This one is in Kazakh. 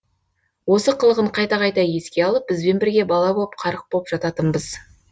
осы қылығын қайта қайта еске алып бізбен бірге бала боп қарық боп жататынбыз